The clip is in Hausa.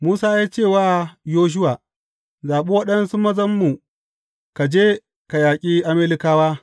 Musa ya ce wa Yoshuwa, Zaɓi waɗansu mazanmu, ka je ka yaƙi Amalekawa.